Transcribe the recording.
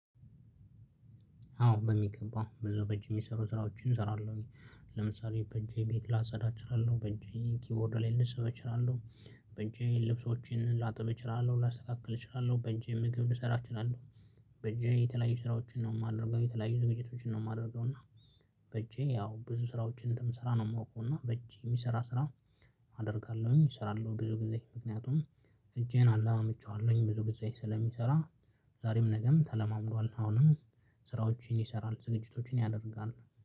አዎ በሚገባ በዛው በእጅ የሚሰሩ ስራዎችን እሰራለሁ። ለምሳሌ በእጄ ቤት ላጸዳ እችላለሁ በእጄ ኪይቦርድ ላይ ልፅፍ እችላለሁ። በእጄ ልብሶችን ላጥብ እችላለሁ ላስተካክል እችላለሁ በእጄ ምግብ ልሰራ እችላለሁ። በእጄ የተለያዩ ስራዎችን ነው የማደርገው የተለያዩ ዝግጅቶችን ነው የማደርገው። እና በእጄ ያው ብዙ ስራዎችን እንደምስራ ነው የማውቀው። እና በእጅ የሚሰራ ስራ አደርጋለሁኝ እሰራለሁ። ብዙ ጊዜ ምክንያቱም እጄን አለማምጄዋለሁኝ ብዙ ግዜ ስለሚሰራ። ዛሬም ነገም ተለማምዷል። አሁንም ስራዎችን ይሰራል ዝግጅቶችን ያደርጋል።